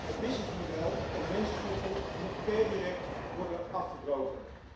Het bedrijfsmodel van mensensmokkel moet per direct worden afgebroken.